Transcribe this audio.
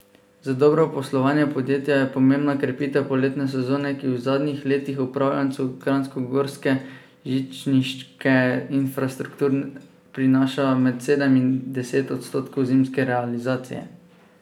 Za dobro poslovanje podjetja je pomembna krepitev poletne sezone, ki v zadnjih letih upravljavcu kranjskogorske žičniške infrastrukture prinaša med sedem in deset odstotkov zimske realizacije.